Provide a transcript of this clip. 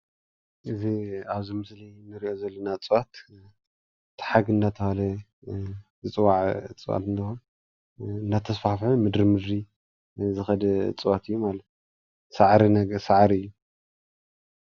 እዚ ኣብዚ ምስሊ ንሪኦ ዘለና እፅዋት ቲሓግ እናተብሃለ ዝፅዋዕ እፅዋት እንትኮን እናተስፋፍሐ ምድሪ ንምድሪ ዝከድ እፅዋት ኣዩ ማለት እዩ። ሳዕሪ ነገር ሳዕሪ እዩ።